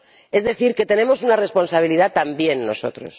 Es decir, tenemos una responsabilidad también nosotros.